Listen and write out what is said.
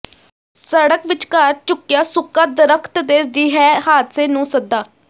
ਸੜਕ ਵਿਚਕਾਰ ਝੁਕਿਆ ਸੁੱਕਾ ਦਰਖਤ ਦੇ ਰਿਹੈ ਹਾਦਸੇ ਨੂੰ ਸੱਦਾ